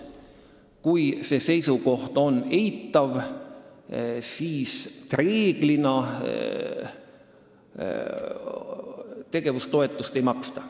Kui see seisukoht on eitav, siis reeglina tegevustoetust ei maksta.